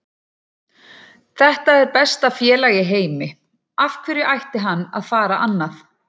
Þetta er besta félag í heimi, af hverju ætti hann að fara annað?